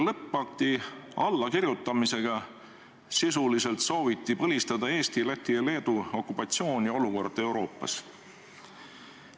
Lõppakti allakirjutamisega sooviti sisuliselt põlistada Eesti, Läti ja Leedu okupatsioon ning olukord Euroopas.